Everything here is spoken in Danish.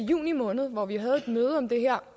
juni måned hvor vi havde et møde om det her